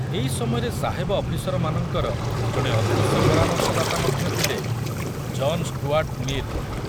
ଏଇ ସମୟରେ ସାହେବ ଅଫିସରମାନଙ୍କର ଜଣେ ଅଦୃଶ୍ୟ ପରାମର୍ଶଦାତା ମଧ୍ୟ ଥିଲେ, ଜନ ଷ୍ଟୁଆର୍ଟ ମିଲ।